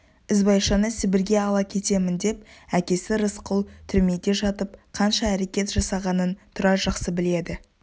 ізбайшаны сібірге ала кетемін деп әкесі рысқұл түрмеде жатып қанша әрекет жасағанын тұрар жақсы біледі